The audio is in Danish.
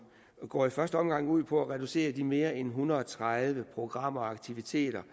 går i første omgang ud på at reducere de mere end en hundrede og tredive programaktiviteter